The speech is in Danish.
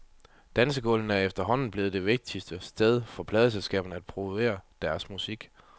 Dansegulvene er efterhånden blevet det vigtigste sted for pladeselskaberne at promovere deres musik.